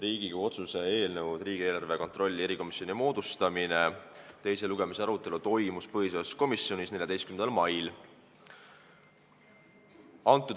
Riigikogu otsuse "Riigieelarve kontrolli erikomisjoni moodustamine" eelnõu teise lugemise arutelu toimus põhiseaduskomisjonis 14. mail.